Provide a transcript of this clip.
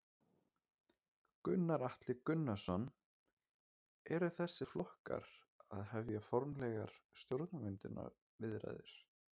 Gunnar Atli Gunnarsson: Eru þessir flokkar að hefja formlegar stjórnarmyndunarviðræður?